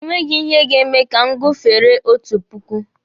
E nweghi ihe ga-eme ka m gufere otu puku.